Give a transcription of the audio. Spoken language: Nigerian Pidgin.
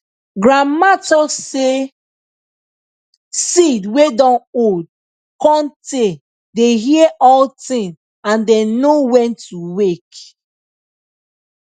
grandma talk say seed wey dun old cun tay dey hear all thing and dem know when to wake